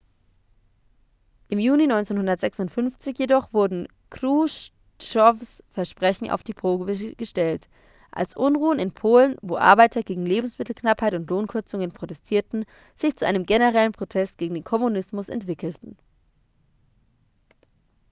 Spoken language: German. im juni 1956 jedoch wurden chruschtschows versprechen auf die probe gestellt als unruhen in polen wo arbeiter gegen lebensmittelknappheit und lohnkürzungen protestierten sich zu einem generellen protest gegen den kommunismus entwickelten